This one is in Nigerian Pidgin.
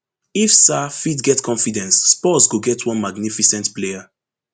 if sarr fit get confidence spurs go get one magnificent player